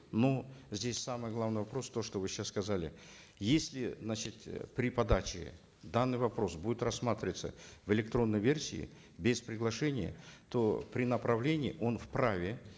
но здесь самый главный вопрос то что вы сейчас сказали если значит э при подаче данный вопрос будет рассматриваться в электронной версии без приглашения то при направлении он вправе